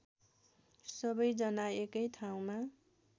सबैजना एकै ठाउँमा